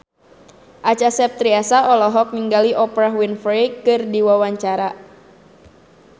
Acha Septriasa olohok ningali Oprah Winfrey keur diwawancara